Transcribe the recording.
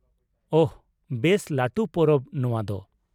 ᱳᱦᱚ, ᱵᱮᱥ ᱞᱟᱹᱴᱩ ᱯᱚᱨᱚᱵ ᱱᱚᱶᱟ ᱫᱚ ᱾